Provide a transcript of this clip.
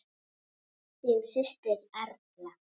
Þín systir, Erla.